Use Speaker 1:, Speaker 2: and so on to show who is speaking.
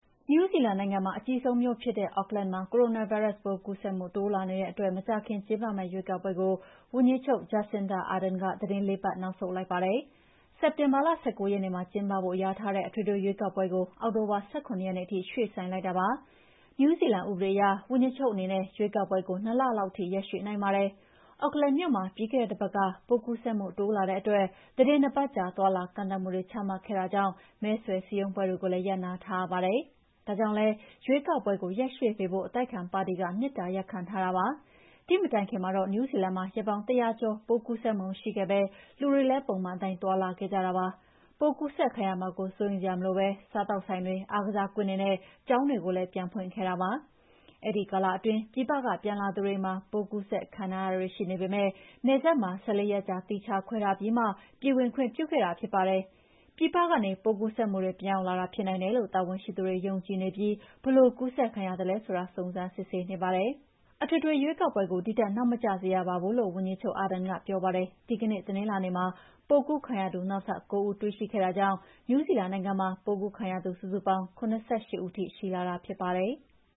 Speaker 1: နယူးဇီလန်နိုင်ငံက အကြီးဆုံးမြိုးဖြစ်တဲ့ Auckland မှာ ကိုရိုနာဗိုင်းရပ်စ်ပိုး ကူးစက်မှုတိုးလာနေတဲ့အတွက် မကြာခင်ကျင်းပမယ့် ရွေးကောက်ပွဲကို ဝန်ကြီးချုပ် Jacinda Arden က သီတင်း ၄ ပတ်နောက်ဆုတ်လိုက်ပါတယ်။ စက်တင်ဘာလ ၁၉ ရက်နေ့မှာ ကျင်းပဖို့ လျာထားတဲ့ အထွေထွေရွေးကောက်ပွဲကို အောက်တိုဘာလ ၁၇ ရက်နေ့ထိ ရွှေ့ဆိုင်းလိုက်တာပါ။ နယူးဇီလန်ဥပဒေအရ ဝန်ကြီးချုပ်အနေနဲ့ ရွေးကောက်ပွဲကို ၂ လလောက်ထိ ရက် ရွှေ့နိုင်ပါတယ်။ Auckland မြို့မှာ ပြီးခဲ့တဲ့တပတ်က ပိုးကူးစက်မှု တိုးလာတဲ့အတွက် သီတင်း၂ ပတ်ကြာ သွားလာကန့်သတ်မှုတွေ ချမှတ်ခဲ့တာကြောင့် မဲဆွယ်စည်းရုံးပွဲတွေလည်း ရပ်နားထားရပါတယ်။ ဒါကြောင့်လည်း ရွေးကောက်ပွဲကို ရက်ရွှေ့ပေးဖို့ အတိုက်အခံပါတီက မေတ္တာရပ်ခံထားတာပါ။ ဒီမတိုင်ခင်မှာတော့ နယူးဇီလန်မှာ ရက်ပေါင်း ၁၀၀ ကျော် ပိုးကူးစက်မှုမရှိခဲ့ဘဲ လူတွေလည်း ပုံမှန်အတိုင်းသွားလာခဲ့ကြပါတယ်။ ပိုးကူးစက်ခံရမှာကို စိုးရိမ်စရာမလိုဘဲ စားသောက်ဆိုင်တွေ၊ အားကစားကွင်းတွေနဲ့ ကျောင်းတွေကို ပြန်ဖွင့်ခဲ့တာဖြစ်ပါတယ်။ အဲဒီကာလအတွင်း ပြည်ပက ပြန်လာသူတွေမှာ ပိုးကူးစက်ခံထားရတာတွေရှိပေမဲ့ နယ်စပ်မှာ ၁၄ ရက်ကြာ သီးခြားခွဲထားပြီးမှာ ပြည်ဝင်ခွင့်ပြုခဲ့တာဖြစ်ပါတယ်။ ပြည်ပကနေ ပိုး ကူးစက်မှုတွေ ပြန်ရောက်လာတာဖြစ်နိုင်တယ်လို့ တာဝန်ရှိသူတွေယုံကြည်နေပြီး ဘယ်လိုကူးစက်ခံရသလဲဆိုတာ စုံစမ်းစစ်ဆေးနေပါတယ်။ အထွေထွေ ရွေးကောက်ပွဲကို ဒီထက် နောက်ထပ်နောက်မကျစေရပါဘူးလို့ ဝန်ကြီးချုပ် Jacinda Ardern ကပြောပါတယ်။ ဒီကနေ့ တနင်္လာနေ့မှာ ပိုးကူးခံရသူ နောက်ထပ် ၉ ဦးတွေ့ရှိခဲ့တာကြောင့် နယူးဇီလန်မှာ လက်ရှိ ပိုးကူးခံရသူစုစုပေါင်း ၇၈ ဦး ရှိလာတာဖြစ်ပါတယ်။